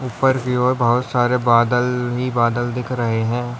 ऊपर की ओर बहोत सारे बादल ही बादल दिख रहे है।